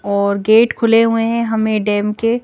और गेट खुले हुए हैं हमें डैम के--